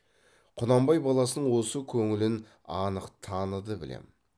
құнанбай баласының осы көңілін анық таныды білем